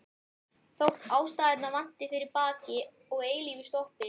Þótt ástæðurnar vanti fyrir bakki og eilífu stoppi.